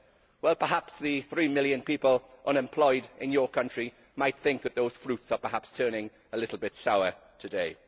Well, perhaps the three million people who are unemployed in your country might think that those fruits are perhaps turning a little sour today.